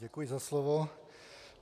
Děkuji za slovo.